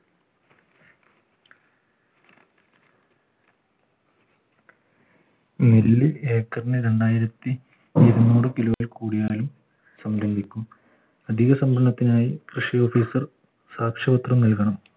ഏക്കർന് രണ്ടായിരത്തി ഇരുനൂറ് kilo ൽ കൂടിയാലും സംരംഭിക്കും അധികസംഭരണത്തിനായി കൃഷി officer സാക്ഷ്യപത്രം നൽകണം